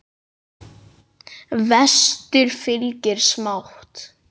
Vestur fylgir smátt.